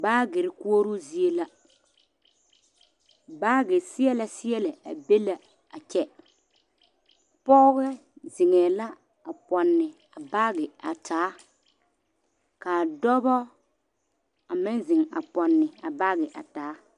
Baagere koɔroo zie la baagi siɛle seɛle a be la a kyɛ pɔge zeŋ la a pɔnne a baagi a taa kaa dɔɔbo a meŋ zeŋ a pɔnne a baage a taa.